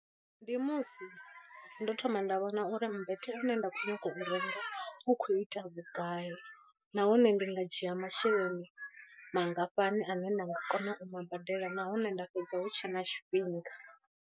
Ndi musi ndo thoma nda vhona uri mmbete u ne nda khou nyanga u renga u khou ita vhugai, nahone ndi nga dzhia masheleni mangafhani ane nda nga kona u ma badela nahone nda fhedza hu tshe na tshifhinga.